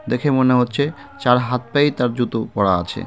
দেখে মনে হচ্ছে চার হাত পায়েই তার জুতো পরা আছে .